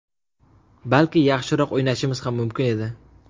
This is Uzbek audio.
Balki yaxshiroq o‘ynashimiz ham mumkin edi.